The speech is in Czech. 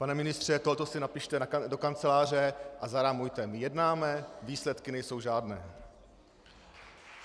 Pane ministře, toto si napište do kanceláře a zarámujte: My jednáme, výsledky nejsou žádné.